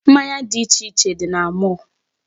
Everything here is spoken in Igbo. Mmanya dị iche dị na mall.